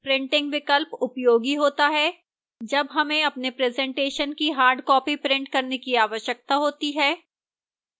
printing विकल्प उपयोगी होता है: